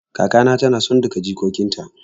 Kaka na ta na son duka jikokin ta